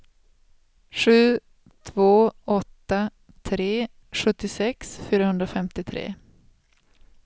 sju två åtta tre sjuttiosex fyrahundrafemtiotre